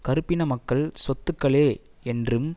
கறுப்பின மக்கள் சொத்துக்களே என்றும்